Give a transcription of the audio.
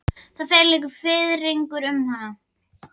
Það fer líka fiðringur um hann.